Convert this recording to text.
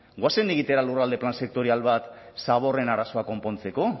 goazen egitera lurralde plan sektorial bat zaborren arazoa konpontzeko